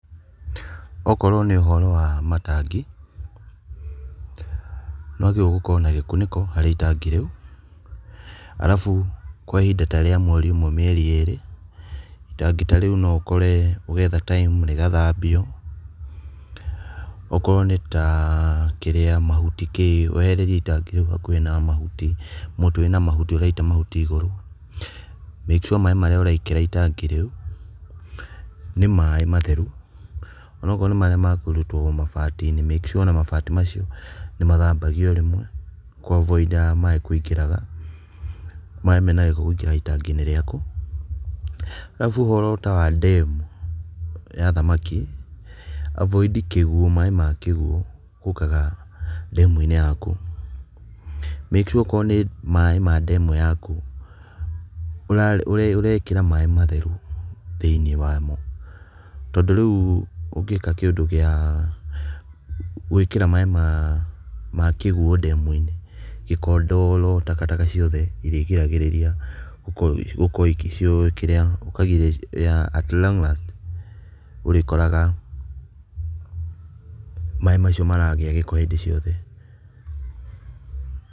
Okorwo nĩ ũhoro wa matangĩ, nĩwagĩrĩirwo gũkorwo na gĩkunĩko harĩ itangi rĩũ, arabu kwa ihinda ta rĩa mweri ũmwe, mĩeri ĩrĩ, itangi ta rĩu no ũkore ũgetha time rĩgathambio. Okorwo nĩ ta kĩria, mahuti, kĩĩ, weherie itangi rĩũ hakuhĩ na mahuti, mũtĩ wĩna mahuti ũraita mahuti igũrũ, make sure maĩ marĩa ũrekĩra itangi rĩũ nĩ maĩ matheru. Onokorwo nĩ marĩa ma kũrutwo mabati-inĩ make sure ona mabati macio nĩ mathambagio rĩmwe kũ- avoid maĩ kũingĩraga, maĩ mena gĩko kũingĩraga itangi-inĩ rĩaku. Arabu ũhoro ta wa demu ya thamaki, avoid kĩguũ, maĩ ma kĩguũ gũũkaga demu-inĩ yaku. Make sure okorwo nĩ maĩ ma demu yaku, ũrekĩra maĩ matheru thĩiniĩ wa-mo. Tondũ rĩũ ũngĩka kĩũndũ gĩa gũĩkĩra maĩ ma kĩguũ demu-inĩ, gĩko, ndoro, takataka ciothe, irĩgiragĩrĩria gũkorwo ikĩ kĩrĩa at long last ũrĩkoraga maĩ macio maragĩa gĩko hĩndĩ ciothe.